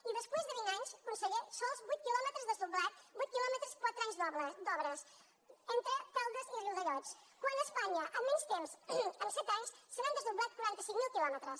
i després de vint anys conseller sols vuit quilòmetres desdoblats vuit quilòmetres quatre anys d’obres entre caldes i riudellots quan a espanya en menys temps en set anys s’han desdoblat quaranta cinc mil quilòmetres